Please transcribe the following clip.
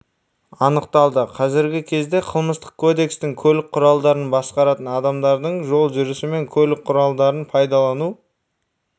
анықталды қазіргі кезде қылмыстық кодекстің көлік құралдарын басқаратын адамдардың жол жүрісі мен көлік құралдарын пайдалану